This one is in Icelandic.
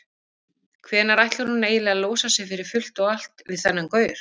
Hvenær ætlar hún eiginlega að losa sig fyrir fullt og allt við þennan gaur?